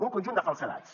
un conjunt de falsedats